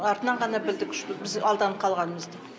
артынан ғана білдік что біз алданып қалғанымызды